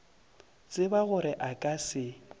tseba gore a ka se